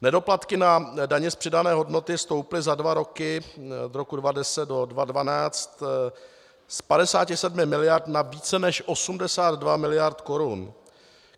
Nedoplatky na dani z přidané hodnoty stouply za dva roky od roku 2010 do 2012 z 57 miliard na více než 82 miliard korun.